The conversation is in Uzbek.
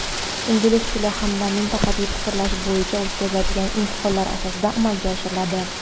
ingliz tili hamda mantiqiy fikrlash bo‘yicha o‘tkaziladigan imtihonlar asosida amalga oshiriladi.